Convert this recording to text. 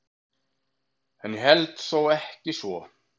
En ég held þó ekki svo.